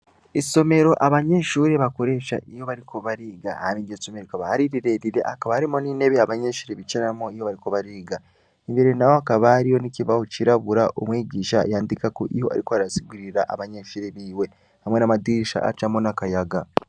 Isomero abanyeshuri bakoresha iyo bariko bariga hama iryosomero ikabahari rirerire akabarimo n'inebe abanyenshuri bicaramo iyo bariko bariga imbere na wo akabariyo n'ikibaho cirabura umwigisha yandikako iyo, ariko arasigirira abanyeshuri biwe hamwe n'amadirisha acamo n'akayaga.